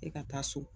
E ka taa so